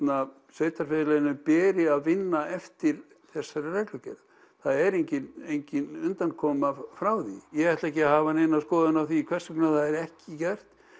sveitarfélaginu beri að vinna eftir þessari reglugerð það er engin engin undankoma frá því ég ætla ekki að hafa neina skoðun á því hvers vegna það er ekki gert